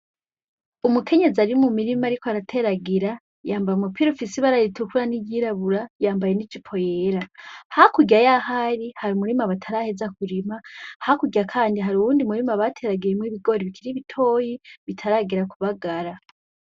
Umukenyezi ari mu mirima ari ko arateragira yambara umupira ufisibararitukura n'iryirabura yambaye n'ijipo yera hakurya yahari hari umurimu abataraheza kurima hakurya, kandi hari uwundi murimu abateragiyemwo ibigori bikira ibitoyi bitaragera kubagara.